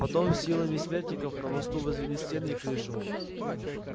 потом силами смертников на мосту возвели стены и крышу